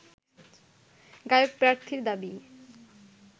গায়ক প্রার্থীর দাবি